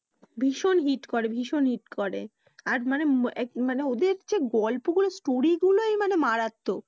ভীষন hit করে ভীষন hit করে। আর মানে এব মানে ওদের যে গল্পগুলো story গুলই মানে মারাত্মক।